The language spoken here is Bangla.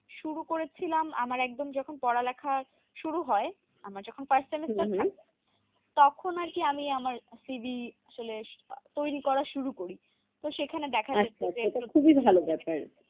শুরু করেছিলাম, আমার একদম যখন পড়ালেখার শুরু হয়। আমার যখন first semester থাকবে তখন আরকি আমি আমার cv আসলে তৈরী করা শুরু করি। তো সেখানে দেখা যাচ্ছে আচ্ছা আচ্ছা তা খুবই ভালো ব্যাপার